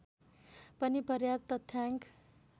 पनि पर्याप्त तथ्याङ्क